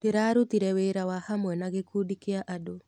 Ndĩrarutire wĩra wa hamwe na gĩkundi kĩa andũ.